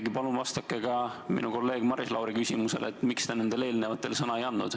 Ja palun vastake ka minu kolleegi Maris Lauri küsimusele, miks te nendele eelnevatele sõna ei andnud.